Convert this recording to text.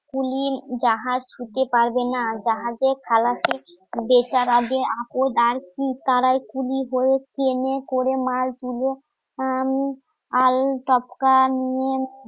তুলির জাহাজ ছুঁতে পারবে না জাহাজের খালাসি বেকার আগে আপদ আর কি তারাই কুলি হয়ে কেনে করে